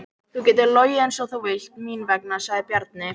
Þú getur logið eins og þú vilt mín vegna, sagði Bjarni.